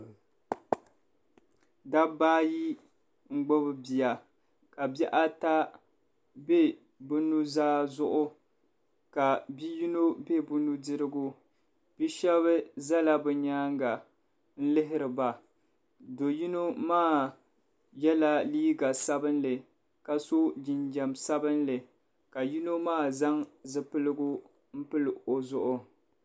Dabba ayi n gbubi bia ka bihi ata bɛ bi nuzaa zuɣu ka bia yino bɛ bi nudirigu bia shaba zala bɛ nyaanga lihiri ba doo yino maa yɛla liiga sabinli ka so jinjam sabinli ka yino maa zaŋ zipiligu pili o zuɣu ni.